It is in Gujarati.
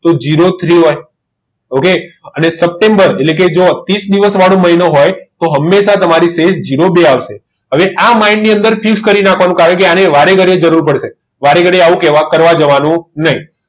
તો zero three હોય અને સપ્ટેમ્બર જોકે ત્રીસ મહિનો હોય તો હંમેશા તો તમારી શેષ zero બે આવશે આ mind ની અંદર ફિક્સ કરી રાખવાનું કેમ કે આ વારે ઘડીએ જરૂર પડશે વારે ઘડી આવું કહેવા જવા કરવાનું નહીં